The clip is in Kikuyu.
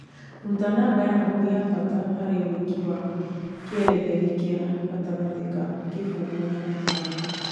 rũta namba ya hakuhĩ ya mbata harĩ wĩiki wa kĩeretheri kĩa gatangatĩ ka gĩmbũngu na ĩthano